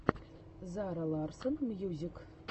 зара ларсон мьюзик